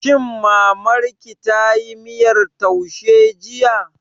Shin Mamar ki tayi miyar taushe jiya?